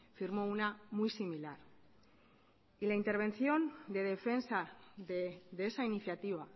firmó una muy similar la intervención de defensa de esa iniciativa